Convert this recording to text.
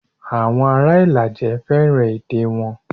Awon ara Ilaje feran ede won.